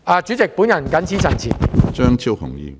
主席，我謹此陳辭。